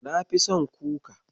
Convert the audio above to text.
Nafi son kuka.